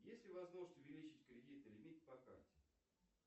есть ли возможность увеличить кредитный лимит по карте